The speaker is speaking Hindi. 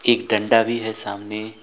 एक डंडा भी है सामने।